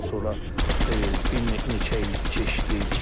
Ondan sonra bir neçə il keçdi.